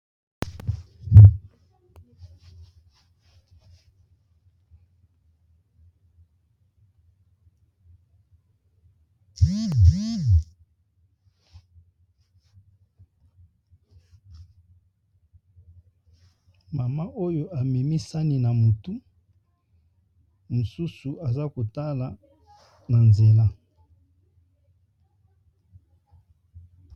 Mama Oyo amemi sani na mutu mosusu aza kotala n'a nzela